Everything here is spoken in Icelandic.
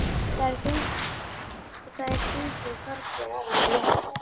Það er þungu fargi af honum létt.